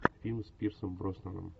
фильм с пирсом броснаном